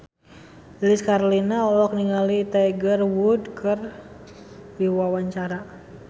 Lilis Karlina olohok ningali Tiger Wood keur diwawancara